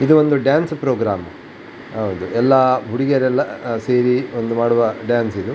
ಇದು ಒಂದು dance programme ಹೌದು ಎಲ್ಲ ಹುಡುಗ್ಯಾರೆಲ್ಲ ಸೇರಿ ಒಂದು ಮಾಡುವ ಡಾನ್ಸ್ ಇದು.